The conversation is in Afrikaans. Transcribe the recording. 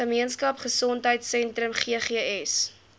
gemeenskap gesondheidsentrum ggs